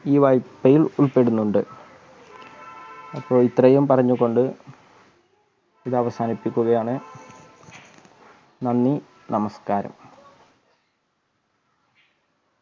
ഈ വായ്പയിൽ ഉൾപ്പെടുന്നുണ്ട് അപ്പോൾ ഇത്രയും പറഞ്ഞുകൊണ്ട് ഇത് അവസാനിപ്പിക്കുകയാണ് നന്ദി നമസ്കാരം